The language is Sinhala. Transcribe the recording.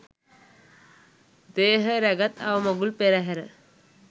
දේහය රැගත් අවමගුල් පෙරහර